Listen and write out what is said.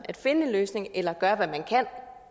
at finde en løsning eller at gøre hvad man kan